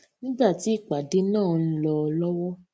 nígbà tí ìpàdé náà ń lọ lówó